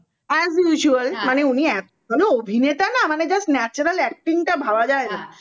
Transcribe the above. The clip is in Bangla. as usual মানে উনি এত ভালো অভিনেতা না মানে just natural acting তা ভাবা যাই না